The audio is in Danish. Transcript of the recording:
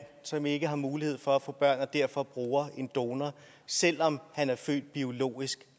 som ikke har mulighed for at få børn og derfor bruger en donor selv om han er født biologisk